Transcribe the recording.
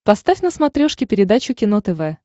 поставь на смотрешке передачу кино тв